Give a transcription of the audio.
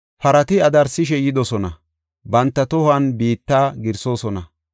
Parati adarsishe yidosona, banta tohuwan biitta giirsoosona.